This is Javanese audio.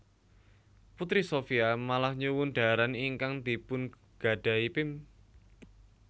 Putri Shopia malah nyuwun dhaharan ingkang dipungadhahi Pim